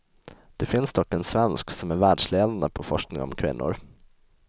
Det finns dock en svensk som är världsledande på forskning om kvinnor.